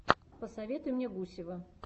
посоветуй мне гусева